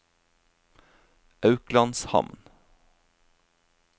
Auklandshamn